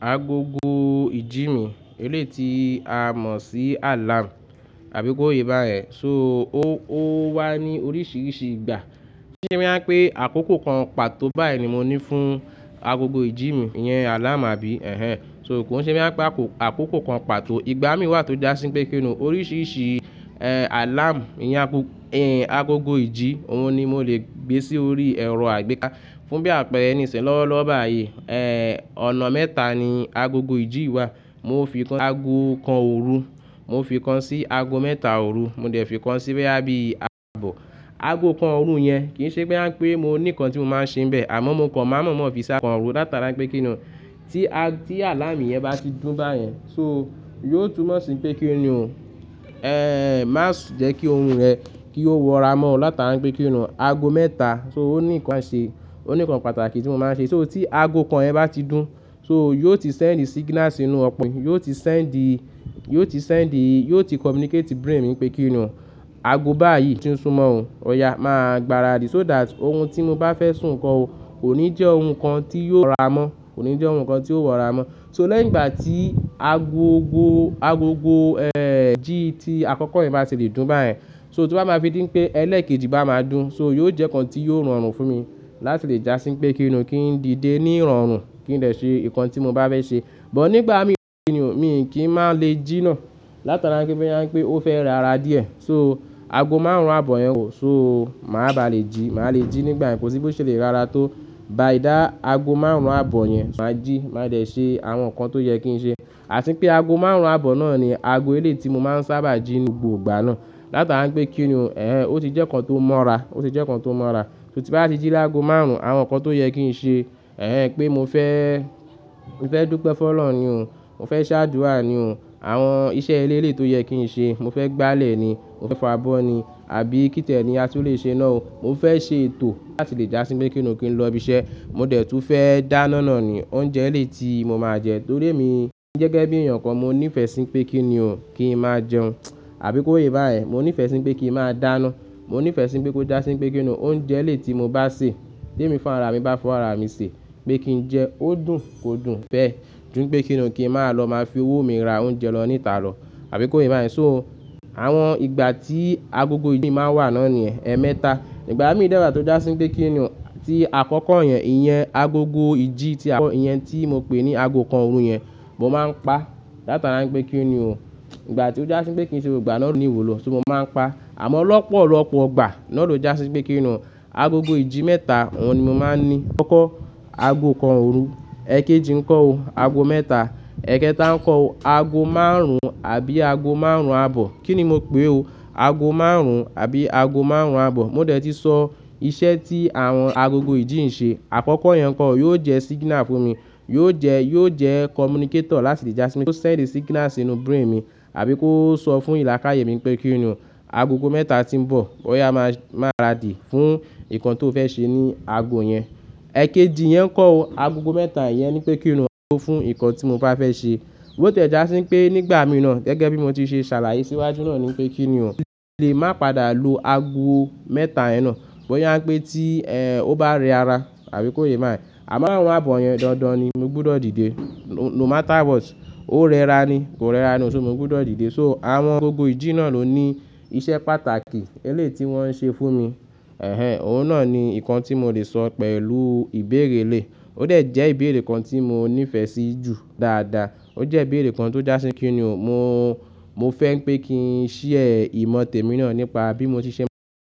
Agogo ìjí mi, eléyìí tí a mọ̀ sí alarm, àbí kó yé báyẹn. So ó wá ní oríṣiríṣi ìgbà. Kí n ṣe bóyá pé àkókò kan pàtó báyìí ni mo ní fún agogo ìjí mi, ìyẹn alarm, àbí? Ẹ̀hẹn. So kòun se bóyá pé àkókò kan pàtó. Ìgbà mí wà tó jásí pé kí n nu oríṣiríṣi, eh, alarm ìyẹn agogo ìjí, òun ni mo lè gbé sí orí ẹ̀rọ àgbéká fún bí àpẹ̀rẹ níṣẹ̀ lọ́wọ́lọ́wọ́ báyìí. Eh, ọ̀nà mẹ́ta ni agogo ìjí wà. Mo fì kan, ago kan òru, mo fi kan sí ago mẹ́ta òru, mo dẹ̀ fi kan sí bóyá bíi ààbọ̀. Ago kan òru yẹn kì í ṣe bóyá pe mo ní nǹkan tí mo máa nṣe níbẹ̀, àmọ́ mo kàn má n mọ̀ọ́mọ̀ fi ságo òru látara pé kí n nu tí a, tí alarm yẹn bá ti dún báyẹn. So yóò túnmọ̀ sí pé kínni o, eh, má jẹ́ kí orun rẹ̀ kí ó wọra mọ́ látara pé kínni o ago mẹ́ta. So ó ní nǹkan ṣe, ó ní nǹkan pàtàkì tí mo máa ṣe. So tí ago kan yẹn bá ti dún, so yóò ti sẹ́ǹdi signal sínú ọkùnrin, yóò ti sẹ́ǹdi, yóò ti sẹ́ǹdi, yóò ti communicati brain mi pé kí n nu ago báyìí tí ń sún mọ́ o. Ọ̀yà máa gbára dì so that orun tí mo bá fẹ́ sùn gan ò kò ní jẹ́ orun kan tí yó wọra mọ́, kò ní jẹ́ orun kan tí ó wọra mọ́. So lẹ́yìn ìgbà tí agogo, agogo, eh, jí tí àkọ́kọ́ yẹn bá ti lè dún báyẹn, so tó bá ma fi dí pé ẹlẹ́kejì bá máa dún, so yóò jẹ́ nǹkan tí yóò rọrùn fún mi láti lè jásí pé kí ni o kí n dìde ní ìrọ̀rùn, kí n dẹ̀ ṣe nǹkan tí mo bá fẹ́ ṣe. Bọ̀ nígbà mí, kí n nu, mi kì í máa le jí náà látara pé bóyá pé ó fẹ́ rẹ́ra díẹ̀. So ago márùn-ún abọ̀ yẹn ò. So màá ba lè jí, màá lè jí nígbà yẹn kòsí bó ṣe lè rẹ́ra tó. Ba ìdá ago márùn-ún abọ̀ yẹn, màá jí, màá lè ṣe àwọn nǹkan tó yẹ kí n ṣe. Àti pé ago márùn-ún abọ̀ náà ni ago elé tí mo máa ń sábà jí ní gbogbo ìgbà náà látara pé kínni o, eh, ó ti jẹ́ nǹkan tó mọ́ra, ó ti jẹ́ nǹkan tó mọ́ra. So tí n bá ti jí lágo márùn-ún, àwọn nǹkan tó yẹ kí n ṣe, eh, pé mo fẹ́, mo fẹ́ dúpẹ́ fọ́lọ̀run ni o, mo fẹ́ ṣáàdúrà ni o, àwọn iṣẹ́ elére tó yẹ kí n ṣe, mo fẹ́ gbálẹ̀ ni, mo fẹ́ fọ abọ́ ni, àbí kí tẹ̀lé ni a sì le ṣe iná o. Mo fẹ́ ṣe ètò láti lè jásí pé kínni o kí n lọ ibi iṣẹ́. Mo dẹ̀ tún fẹ́ dáná náà ni, oúnjẹ eléyìí tí mo máa jẹ torí èmi gẹ́gẹ́ bí èèyàn kan mo ní ìfẹ́ sí pé kínni o, kí n máa jẹun, àbí kó yé báyẹn. Mo ní ìfẹ́ sí pé kí n máa dáná, mo ní ìfẹ́ sí pé kó jásí pé kínni o oúnjẹ eléyìí tí mo bá sè, té mi fún ara mi bá fọwọ́ ara mi sè, pé kí n jẹ ó dùn, kò dùn bẹ́ẹ̀. Ju pé kínni o, kí n máa lọ máa fi owó mi ra oúnjẹ lọ níta lọ, àbí kó yé báyẹn. So Àwọn ìgbà tí agogo ìjí mi máa ń wà náà níyẹ̀n ẹ̀mẹta. Ìgbà mí dàgbà tó jásí pé kí n nu tí àkọ́kọ́ yẹn, ìyẹn agogo ìjí tí àkọ́kọ́ yẹn tí mo pè ní ago kan òru yẹn, mo máa ń pa látara pé kí n nu o. Ìgbà tí ó jásí pé kí n ṣe gbogbo igbà náà ló ní ìwúlò, so mo máa ń pa. Àmọ́ lọ́pọ̀lọ́pọ̀ ìgbà náà ló jásí pé kínni o agogo ìjí mẹ́ta, òun ni mo máa ń ní. Àkọ́kọ́ ago kan òru, ẹ́kẹ́jì ńkọ́ o ago mẹ́ta, ẹ́kẹ́ta ńkọ́ o ago márùn-ún àbí ago márùn-ún abọ̀. Kí ni mo pè o? Ago márùn-ún àbí ago márùn-ún abọ̀. Mo dẹ̀ ti sọ iṣẹ́ tí àwọn agogo ìjí ń ṣe. Àkọ́kọ́ yẹn kan yóò jẹ́ signal fún mi, yóò jẹ́, yóò jẹ́ communicator láti lè jásí pé kó sẹ́ǹ di signal sínú brain mi, àbí kó sọ fún ìlàkàyè mi pé kí n nu agogo mẹ́ta tí ń bọ̀, wọ́n yá máa, máa rà di fún nǹkan tó fẹ́ ṣe ní ago yẹn. Ẹ́kẹ́jì yẹn ńkọ́ o agogo mẹ́ta yẹn ní pé kí n nu fún nǹkan tí mo bá fẹ́ ṣe. Ó tẹ̀ já sí pé nígbà mi iná gẹ́gẹ́ bí mo ti ṣe ṣàlàyé síwájú náà ni pé kínni o, mo lè má pàdà lo ago mẹ́ta iná bọ́ yá pé tí, eh, ó bá rẹ́ra, àbí kó yé bá ẹ. Àmọ́ ààrún abọ̀ yẹn dandan ni, mo gbọdọ̀ dìde. No matter what, ó rẹ́ra ni, kò rẹ́ra ni o, so mi ò gbọdọ̀ dìde. So àwọn agogo ìjí náà ló ní iṣẹ́ pàtàkì elé tí wọ́n ń ṣe fún mi. Ẹ̀hẹn, òun náà ni nǹkan tí mo lè sọ pẹ̀lú ìbéèrè elé. Ó dẹ̀ jẹ́ ìbéèrè kan tí mo ní ìfẹ́ sí jù dáadáa. Ó jẹ́ ìbéèrè kan tó jásí kínni o mo, mo fẹ́ pé kí n ṣiyẹ̀ ìmọ̀ tèmi náà nípa bí mo ṣe ṣe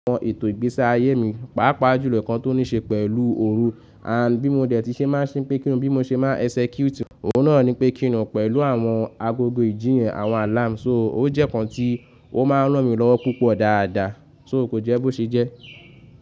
àwọn ètò ìgbésí ayé mi, pàápàá jùlọ nǹkan tó ní ṣe pẹ̀lú òru, and bí mo dẹ̀ ti ṣe máa ṣe pé kí n nu bí mo ṣe máa execute. Òun náà ni pé kí n nu pẹ̀lú àwọn agogo ìjí yẹn, àwọn alarm. So ó jẹ́ nǹkan tí ó máa ń ràn mí lọ́wọ́ púpọ̀ dáadáa. So kò jẹ́ bó ṣe jẹ́.